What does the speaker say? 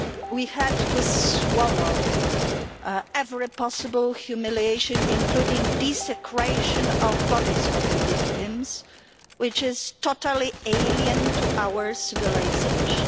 We had to swallow every possible humiliation, including the desecration of the bodies of the victims, which is totally alien to our civilisation.